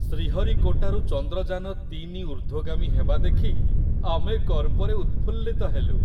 ଶ୍ରୀହରିକୋଟାରୁ ଚନ୍ଦ୍ରଯାନ-୩ ଊର୍ଦ୍ଧ୍ଵଗାମୀ ହେବା ଦେଖି ଆମେ ଗର୍ବରେ ଉତ୍‌ଫୁଲ୍ଲିତ ହେଲୁ।